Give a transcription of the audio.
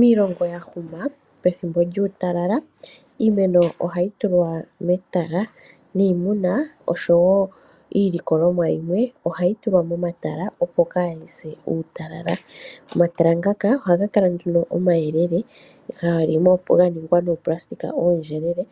Miilongo ya huma pethimbo lyuutalala iimeno ohayi tulwa mematala niimuna osho wo iilikolomwa yimwe ohayi tulwa momatala opo kaa yi se uutalala. Omatala ngaka ohaga kala nduno omayelele ga ningwa nooplastic oondjelele